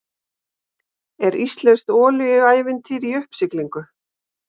Er íslenskt olíuævintýri í uppsiglingu?